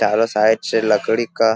चारों साइड से लकड़ी का --